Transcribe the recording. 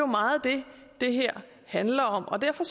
meget det det her handler om og derfor